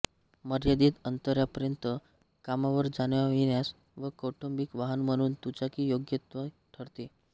मर्यादित अंतरापर्यॅंत कामावर जाण्यायेण्यास व कौटुंबिक वाहन म्हणून दुचाकी योग्यतम ठरते